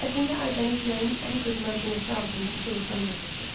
Əslində Aybəniz yayın ən qızmar günəşi altında soyuqdan donurdu.